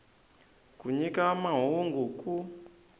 ku nyika mahungu hi ku